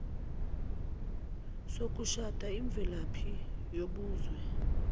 sokushada imvelaphi yobuzwe